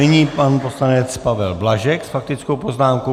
Nyní pan poslanec Pavel Blažek s faktickou poznámkou.